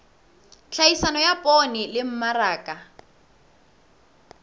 tlhahiso ya poone le mmaraka